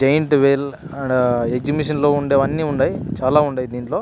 giant wheel ah exhibition లో ఉండే అన్ని ఉండై చాలా ఉండై దీంట్లో --